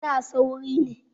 I was in a hurry